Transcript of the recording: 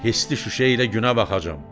Hissli şüşə ilə günə baxacam.